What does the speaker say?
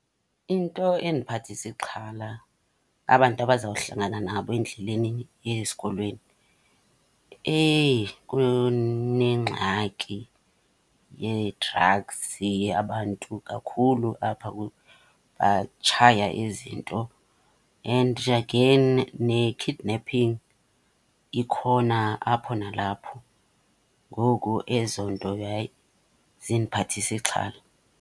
Into endiphathisa ixhala abantu abazawuhlangana nabo endleleni eya esikolweni. Kunengxaki yee-drugs, abantu kakhulu apha batshaya ezi 'nto. And again ne-kidnapping ikhona apho nalapho. Ngoku ezo 'nto hayi zindiphathisa ixhala.